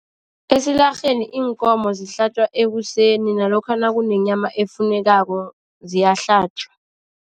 Esilarheni iinkomo zihlatjwa ekuseni. Nalokha nakunenyama efunekako, ziyahlatjwa.